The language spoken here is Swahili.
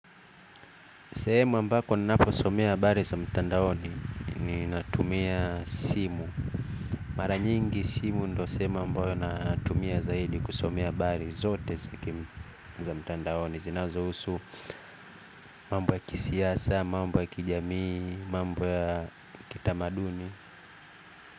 Sehemu ambako naposomea habari za mtandaoni ninatumia simu. Mara nyingi simu ndo sehemu ambayo natumia zaidi kusomea habari zote za mtandaoni. Zinazohusu mambo ya kisiasa, mambo ya kijamii, mambo ya kitamaduni.